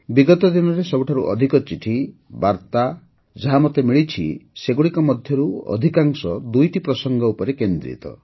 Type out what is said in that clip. ବିଗତ ଦିନରେ ସବୁଠାରୁ ଅଧିକ ଚିଠି ବାର୍ତ୍ତା ଆଦି ଯାହା ମୋତେ ମିଳିଛି ସେଗୁଡ଼ିକ ମଧ୍ୟରୁ ଅଧିକାଂଶ ଦୁଇଟି ପ୍ରସଙ୍ଗ ଉପରେ କେନ୍ଦ୍ରିତ